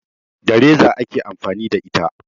Da reza ake amfani da ita